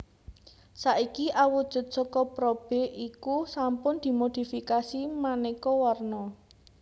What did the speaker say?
Saiki awujud saka probe iku sampun dimodifikasi manèka warna